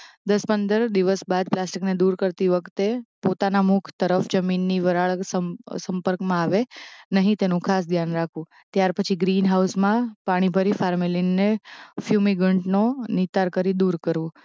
દસ પંદર દિવસ બાદ પ્લાસ્ટિકને દૂર કરતી વખતે પોતાના મુખ તરફ જમીનની વરાળ સં સંપર્કમાં આવે નહિ તેનુંં ખાસ ધ્યાન રાખવું ત્યાર પછી ગ્રીન હાઉસમાં પાણી ભરી ફાર્મેલીન ને ફ્યુમિગન્ટ નો નિતાર કરી દૂર કરવું